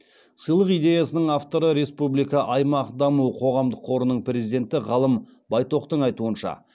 сыйлық идеясының авторы республика аймақ даму қоғамдық қорының президенті ғалым байтоқтың айтуынша